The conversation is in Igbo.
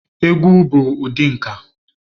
Egwu bụ ụdị nka.